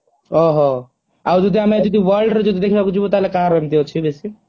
ଓହୋ ଆଉ ଯଦି ଆମେ ଯଦି world ର ଯଦି ଦେଖିବାକୁ ଯିବୁ ତାହେଲେ କାହାର ଏମିତି ଅଛି ବେଶୀ